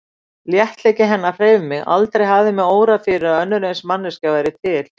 Léttleiki hennar hreif mig, aldrei hafði mig órað fyrir að önnur eins manneskja væri til.